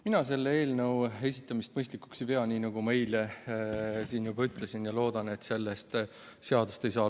Mina selle eelnõu esitamist mõistlikuks ei pea, nii nagu ma eile ütlesin, ja loodan, et sellest seadust ei saa.